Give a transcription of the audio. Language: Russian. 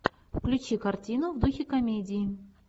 включи картину в духе комедии